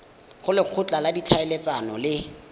go lekgotla la ditlhaeletsano le